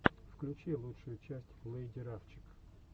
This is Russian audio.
включи лучшую часть лэйди рафчик